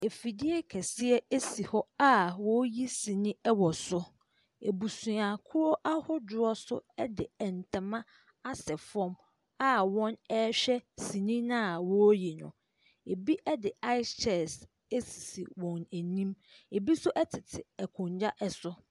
Afidie keseɛ si hɔ a ɔɔyi sini ɛwɔ so. Abusuakuo ahodoɔ nso ɛde ntama asɛ fɔm a wɔn ɛhwɛ sini no a ɔɔyi no. Ɛbi ɛde aes kyɛɛs ɛsisi wɔn anim, ɛbi nso ɛtete akonwa ɛso.